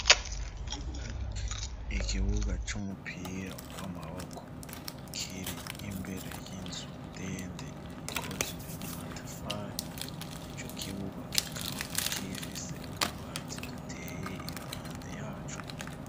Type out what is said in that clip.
Ikibuga c'umupira w'amaboko kiri imbere y'inzu ndende ikozwe mu matafari ico kibuga kikaba kifise utwatsi duteye iruhande yacu.